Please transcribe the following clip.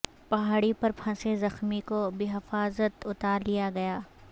پہاڑی پر پھنسے زخمی کو بحفاظت اتار لیا گیا